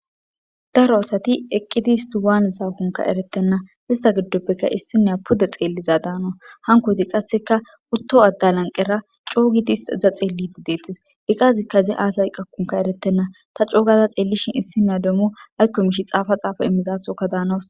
daro asati eqqidi isti waane xaakonka erettenna ista giddoppeka issinea pude xeelliza daana hankoyti qasseka utto addalanqera coogiti hista iza xeellidi deettis iqazikka ze aasay qakkunka eretenna ta coogaza xeellishin issinne demmu haykkomish xaafa xaafa immizasoka daanawus